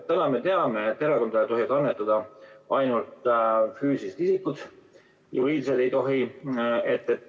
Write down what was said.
Täna me teame, et erakondadele tohivad annetada ainult füüsilised isikud, juriidilised ei tohi.